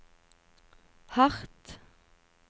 hardt